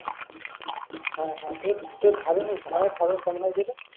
হ্যাঁ হ্যাঁ তো তোর ধান ধানের ফলন কেমন হয়েছে রে